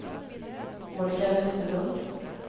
Monica Westerlund